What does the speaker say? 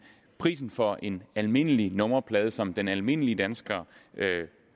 prisen for en almindelig nummerplade som den almindelige dansker